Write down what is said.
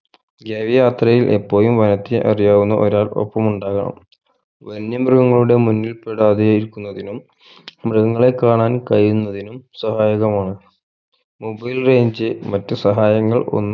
ഗവി യാത്രയിൽ എപ്പോഴും വനത്തെ അറിയാവുന്ന ഒരാൾ ഒപ്പം ഉണ്ടാവണം വന്യമൃഗങ്ങളുടെ മുന്നിൽ പെടാതെയിരിക്കുന്നതിനും മൃഗങ്ങളെ കാണാൻ കയ്യുന്നതിനും സഹായകമാണ് mobile range മറ്റു സഹായങ്ങൾ ഒന്നും